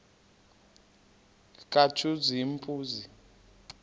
katshazimpuzi